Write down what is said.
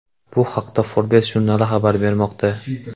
Bu haqda Forbes jurnali xabar bermoqda .